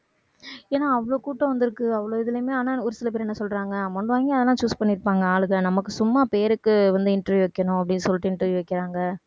ஏன்னா அவ்வளவு கூட்டம் வந்திருக்கு அவ்வளவு இதுலையுமே ஆனா ஒரு சில பேர் என்ன சொல்றாங்க amount வாங்கி அதெல்லாம் choose பண்ணியிருப்பாங்க ஆளுங்க நமக்கு சும்மா பேருக்கு வந்து interview வைக்கணும் அப்படின்னு சொல்லிட்டு interview வைக்கறாங்க